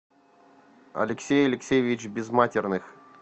алексей алексеевич безматерных